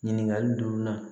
Ɲininkali durunan